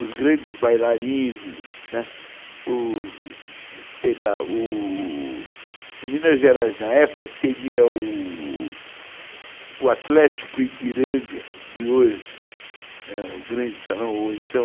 Os grandes bailarinos, né, o... sei lá, u... u... u... Minas Gerais na época seria o Atlético Ipiranga de hoje, o grande salão, ou então o...